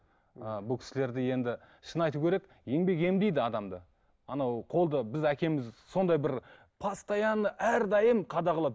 ы бұл кісілерді енді шынын айту керек еңбең емдейді адамды анау қолды біз әкеміз сондай бір постоянно әрдайым қадағалап